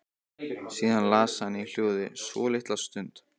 Síðan las hann í hljóði svolitla stund.